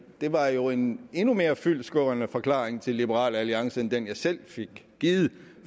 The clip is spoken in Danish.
det var jo en endnu mere fyldestgørende forklaring til liberal alliance end den jeg selv fik givet